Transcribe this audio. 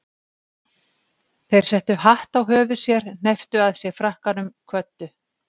Þeir settu hatt á höfuð sér, hnepptu að sér frakkanum, kvöddu.